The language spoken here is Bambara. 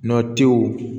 Nɔtiw